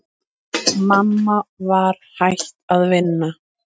Mamma var hætt að vinna.